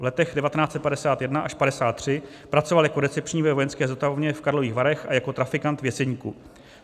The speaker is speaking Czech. V letech 1951 až 1953 pracoval jako recepční ve vojenské zotavovně v Karlových Varech a jako trafikant v Jeseníku.